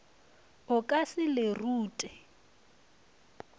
o ka se le rute